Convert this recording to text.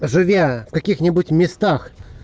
живя в каких-нибудь местах